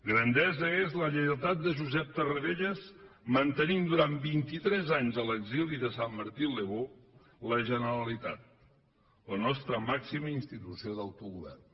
grandesa és la lleialtat de josep tarradellas mantenint durant vint i tres anys a l’exili de saint martin le beau la generalitat la nostra màxima institució d’autogovern